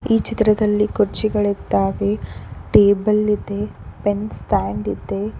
ಈ ಚಿತ್ರದಲ್ಲಿ ಕುರ್ಚಿಗಳಿದ್ದಾವೆ ಟೇಬಲ್ ಇದೆ ಪೆನ್ ಸ್ಟ್ಯಾಂಡ್ ಇದೆ.